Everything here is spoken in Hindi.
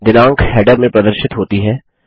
दिनाँक हैडर में प्रदर्शित होती है